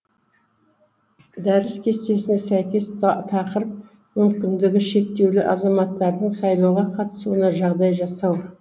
дәріс кестесіне сәйкес тақырып мүмкіндігі шектеулі азаматтардың сайлауға қатысуына жағдай жасау